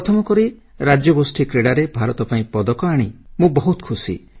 ପ୍ରଥମ କରି ରାଜ୍ୟଗୋଷ୍ଠୀ କ୍ରୀଡ଼ାରେ ଭାରତ ପାଇଁ ପଦକ ଆଣି ମୁଁ ବହୁତ ଖୁସି